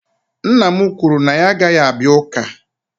nna m kwuru na ya agaghị abịa Ụka